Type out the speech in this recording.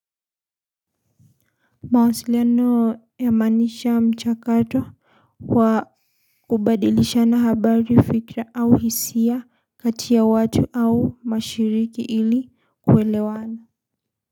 Mawasiliano yamanisha mchakato kwa kubadilisha na habari fikra au hisia katia watu au mashiriki ili kwelewana.